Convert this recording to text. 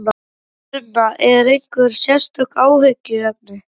Sunna: Eru einhver sérstök áhyggjuefni?